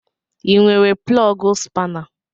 I nwere plọgu spana?